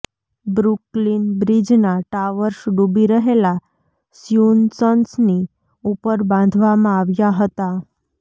Brooklyn બ્રિજના towers ડૂબી રહેલા સ્યુસન્સની ઉપર બાંધવામાં આવ્યા હતા